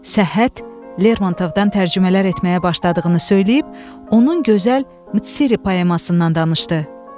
Səhhət Lermontovdan tərcümələr etməyə başladığını söyləyib, onun gözəl Mitsiri poemasından danışdı.